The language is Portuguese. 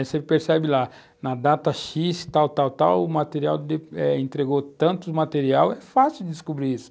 Aí você percebe lá, na data xis , tal, tal, tal, o material, entregou tanto material, é fácil descobrir isso.